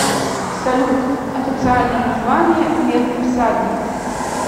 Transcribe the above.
салют официальное название медный всадник